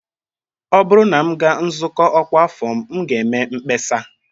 Ọ bụrụ na m gaa nzukọ ọkwa afọ m, m ga-eme mkpesa